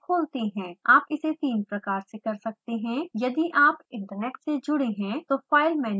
आप इसे तीन प्रकार से कर सकते हैं यदि आप इन्टरनेट से जुड़े हैं तो file मेनू पर क्लिक करें